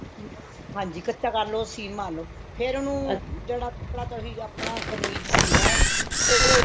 ਹਮ ਹਾਂਜੀ ਕੱਚਾ ਕਰਲੋ ਸੀਨ ਮਾਰਲੋ ਫ਼ੇਰ ਉਹਨੂੰ ਜਿਹੜਾ ਤੁਸੀਂ ਆਪਣਾ ਕਮੀਜ਼ ਸੀਨਾ ਉਹ